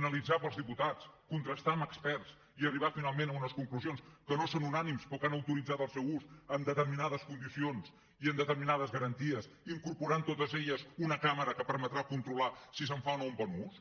analitzar pels diputats contrastar amb experts i arribar finalment a unes conclusions que no són unànimes però que han autoritzat el seu ús en determinades condicions i amb determinades garanties incorporant totes elles una càmera que permetrà controlar si se’n fa o no un bon ús